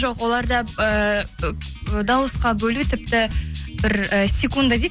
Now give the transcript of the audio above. жоқ оларда ііі дауысқа бөлу тіпті бір і секунда дейді